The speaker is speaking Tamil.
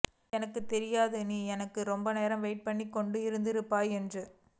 எனக்குத் தெரியும் நீ எனக்காக ரொம்ப நேரம் வெயிட் பண்ணிக் கொண்டு இருந்திருப்பாய் என்று